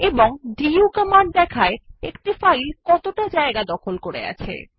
এবং du command দেখায় একটি ফাইল কতটা স্থান দখল করে আছে